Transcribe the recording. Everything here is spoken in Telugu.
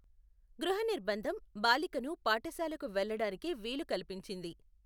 గృహనిర్బంధం, బాలికను పాఠశాలకు వెళ్లడానికి వీలు కల్పించింది.